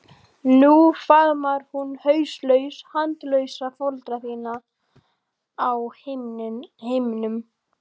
Nú faðmar hún hauslaus handalausa foreldra þína á himnum.